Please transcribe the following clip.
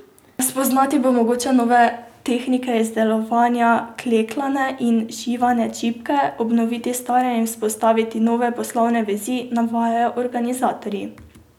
Spoznati bo mogoče nove tehnike izdelovanja klekljane in šivane čipke, obnoviti stare in vzpostaviti nove poslovne vezi, navajajo organizatorji.